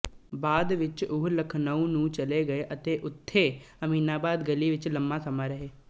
ਬਾਅਦ ਵਿੱਚ ਉਹ ਲਖਨਊ ਨੂੰ ਚਲੇ ਗਏ ਅਤੇ ਉਥੇ ਅਮੀਨਾਬਾਦ ਗਲੀ ਵਿੱਚ ਲੰਮਾ ਸਮਾਂ ਰਹੇ